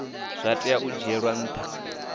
zwa tea u dzhielwa ntha